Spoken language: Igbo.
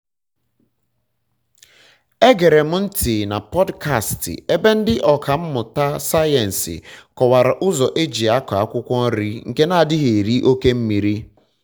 egere m ntị na pọdkastị ebe ndị ọkà mmụta sayensị kọwara ụzọ e ji akọ akwụkwọ nri nke na-adighi eri oke mmiri